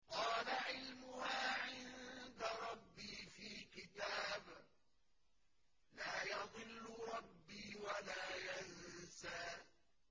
قَالَ عِلْمُهَا عِندَ رَبِّي فِي كِتَابٍ ۖ لَّا يَضِلُّ رَبِّي وَلَا يَنسَى